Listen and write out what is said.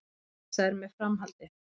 Óvissa er með framhaldið